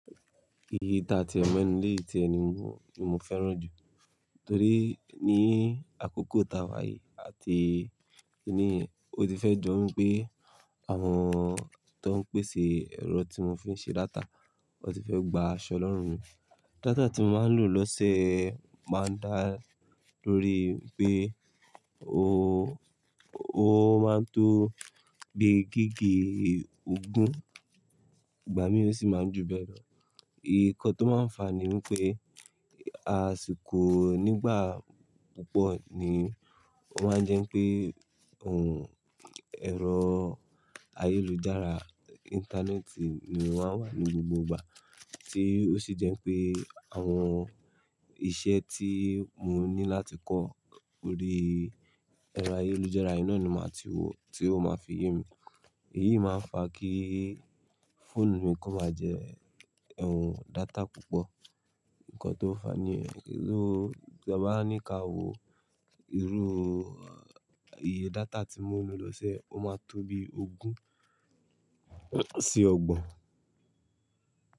Iyi ta ti ọmọ ẹnu lé ti ẹni mu ni mo fẹ́ràn jù torí ní àkókò tàwà yìí àti ní ó ti fẹ́ jó wípé àwọn tó ń pèsè ẹ̀rọ tí mo fi ń ṣe data wọ́n ti fẹ́ gba aṣọ lọ́rùn mi. Data tí mo máa ń lò lọ́ṣe máa ń dá lórí pé ó, ó máa ń tó bí gígi ogún, ìgbà mí ò sì máa ń ju bẹ́ẹ̀ lọ. Ìkọ́ tó máa ń fà ní wípé àsìkò nígbà púpọ̀ ni o máa ń jẹ́ pé òun ẹ̀rọ ayélujára, ìntánẹ́ẹ̀tì ni mo má wà ní gbogbo ìgbà tí ó sì jẹ́ pé àwọn iṣẹ́ tí mo ní láti kọ́ lórí ẹ̀rọ ayélujára iná ni màá ti wò tí ó máa fi ye mi. Èyí máa ń fà kí fóònù mi kó máa jẹ́ ẹ̀hún data púpọ̀. Ìkọ́ tó fà niyen irú tí a bá ń ní ká wo irú iye data tí mo ń lo lọ́ṣe ó máa tó bí ogún sí ọgbọ̀n.